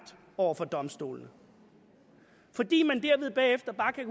over for domstolene fordi man derved bagefter bare kan